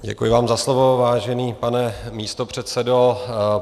Děkuji vám za slovo, vážený pane místopředsedo.